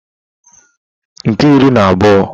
nke iri na otu